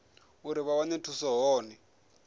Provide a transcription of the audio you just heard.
uri vha wane thuso hone